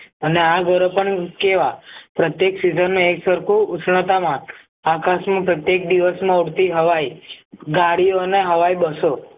અને પણ કેવા પ્રત્યેક સિઝનનો એકસરખો ઉષ્ણતામાન આકાશમાં પ્રત્યેક દિવસમાં ઉડતી હવાઈ ગાડીઓ અને હવાઈ બસો